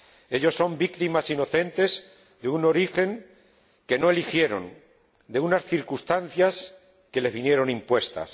Ellos son víctimas inocentes de un origen que no eligieron, de unas circunstancias que les vinieron impuestas.